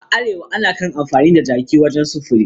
A Arewa ana kan amfani da jaki wajen sufuri